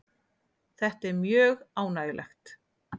Þetta er mjög ánægjulegt